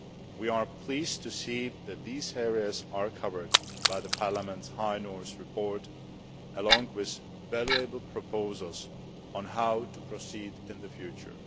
We are pleased to see that these areas are covered by Parliament's High North report, along with valuable proposals on how to proceed in the future.